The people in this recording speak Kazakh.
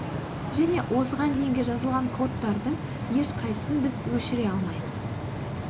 және осыған дейінгі жазылған кодтардың ешқайсысын біз өшіре алмаймыз